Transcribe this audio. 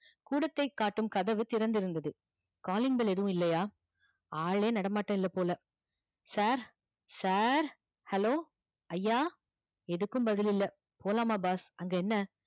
கூடத்தை காட்டும் கதவு திறந்து இருந்தது calling bell எதுவும் இல்லையா ஆளே நடமாட்டம் இல்ல போல sir sir hello ஐயா எதுக்கும் பதில் இல்ல போலாமா boss அங்க என்ன